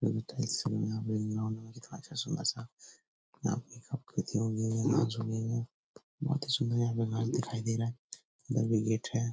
बहुत ही सुंदर यहाँ पे घर दिखाई दे रहा है उधर भी गेट है।